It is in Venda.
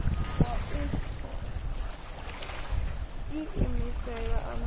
wa u iimisela a na